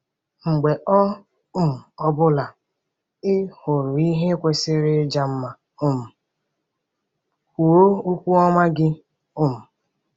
Mgbe ọ um bụla ị hụrụ ihe kwesịrị ịja mma um, kwuo okwu ọma gị um.